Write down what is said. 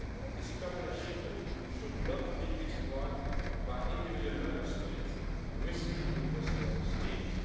This common achievement should not be exploited by individual Member States' risky investor schemes.